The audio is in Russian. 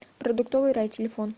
продуктовый рай телефон